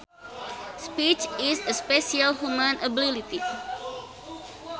Speech is a special human ability